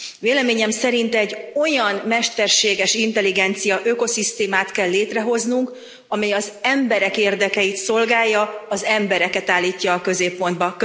Véleményem szerint egy olyan mesterséges intelligencia ökoszisztémát kell létrehoznunk, amely az emberek érdekeit szolgálja, az embereket állítja a középpontba.